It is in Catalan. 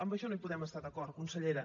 en això no hi podem estar d’acord consellera